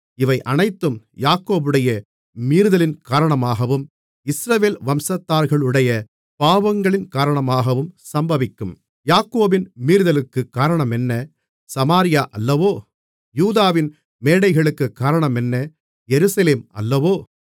இவை அனைத்தும் யாக்கோபுடைய மீறுதலின் காரணமாகவும் இஸ்ரவேல் வம்சத்தார்களுடைய பாவங்களின் காரணமாகவும் சம்பவிக்கும் யாக்கோபின் மீறுதலுக்குக் காரணமென்ன சமாரியா அல்லவோ யூதாவின் மேடைகளுக்குக் காரணமென்ன எருசலேம் அல்லவோ